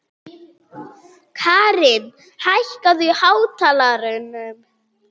Karin, hækkaðu í hátalaranum.